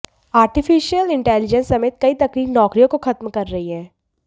artificial intelligence समेत कई तकनीक नौकरियों को खत्म कर रही हैं